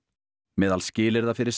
meðal skilyrða fyrir